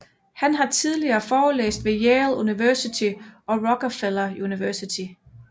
Han har tidligere forelæst ved Yale University og Rockefeller University